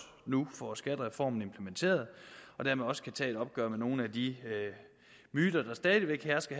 nu får skattereformen implementeret og dermed også kan tage et opgør med nogle af de myter der stadig væk hersker